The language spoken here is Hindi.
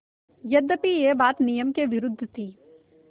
यद्यपि यह बात नियम के विरुद्ध थी